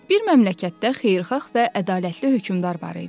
Bir məmləkətdə xeyirxah və ədalətli hökmdar var idi.